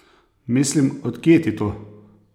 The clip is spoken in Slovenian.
Mislim, od kje ti to?